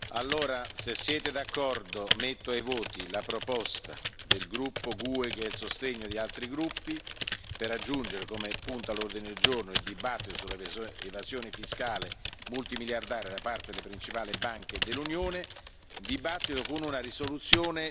Se siete d'accordo, metto ai voti la proposta del gruppo GUE NGL, che ha il sostegno di altri gruppi, di aggiungere come punto all'ordine del giorno la discussione sull'evasione fiscale multimiliardaria da parte delle principali banche dell'Unione, con una risoluzione da